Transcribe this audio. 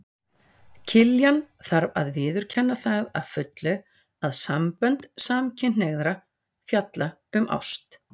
Kirkjan þarf að viðurkenna það að fullu að sambönd samkynhneigðra fjalla um ást.